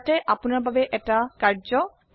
ইয়াতে আপোনাৰ বাবে এটি অনুশীলনী আছে